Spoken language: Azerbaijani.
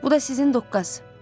Bu da sizin doqqaz.